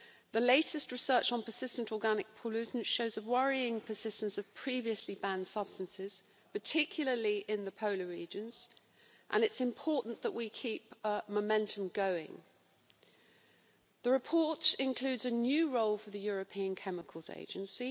The latest research on persistent organic pollutants shows a worrying persistence of previously banned substances, particularly in the polar regions, and it's important that we keep up the momentum on this. The report includes a new role for the European Chemicals Agency